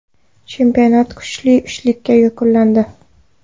Chempionat kuchli uchlikda yakunlandi.